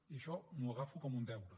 i això m’ho agafo com un deure